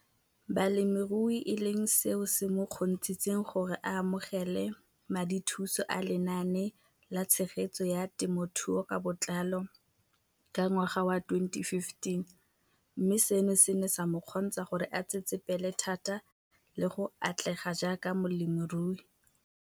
Balemirui e leng seo se mo kgontshitseng gore a amogele madithuso a Lenaane la Tshegetso ya Temothuo ka Botlalo ka ngwaga wa 2015, mme seno se ne sa mo kgontsha gore a tsetsepele thata le go atlega jaaka molemirui.